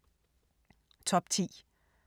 Top 10